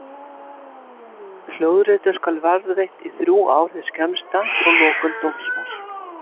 Hljóðritun skal varðveitt í þrjú ár hið skemmsta frá lokum dómsmáls.